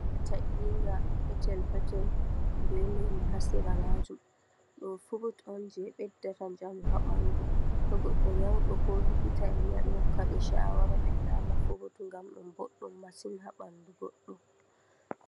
Ta, inga petel petel be lemu ha sera majum, Ɗum furut je ɓeddata njamu ha ɓandu, To goɗɗo nyauɗo ko likita en ma ɗo hokka ɓe shawara ɓe nyama furut. Ngam ɗum boɗɗum masin ha ɓandu goɗɗo.